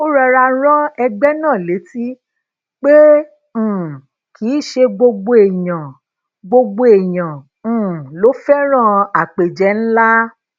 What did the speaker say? ó rọra rán egbe náà létí pé um kì í ṣe gbogbo èèyàn gbogbo èèyàn um ló féràn àpéje ńlá